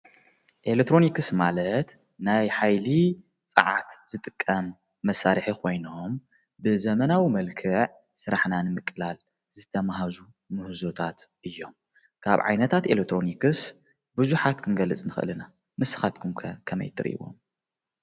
ኤለክትሮኒክስ ማለት ናይ ሓይሊ ፃዓት ዝጥቀም መሳርሒ ኮይኖም ብዘመናዊ መልክዕ ስራሕና ንምቅላል ዝተማሃዙ ምህዞታት እዮም። ካብ ዓይነታት ኤለክትሮኒክስ ብዙሓት ክንገልፅ ንኽእል ኢና። ንስኻትኩም ከ ከመይ ትሪእዎ?